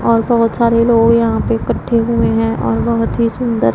और बहोत सारे लोग यहां पे इकट्ठे हुए है और बहोत ही सुंदर--